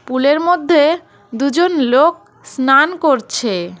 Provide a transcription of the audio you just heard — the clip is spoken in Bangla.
পুলের মধ্যে দুজন লোক স্নান করছে।